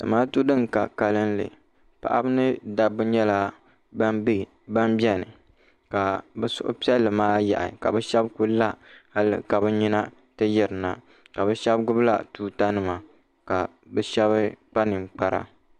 Zamaatu din ka kalili paɣaba ni dabba nyɛla ban biɛni ka bɛ suhu piɛlli maa yaɣi ka bɛ sheba kuli la hali ka bɛ nyina ti yirina ka bɛ sheba gbibila tuuta nima ka bɛ sheba kpa ninkpara.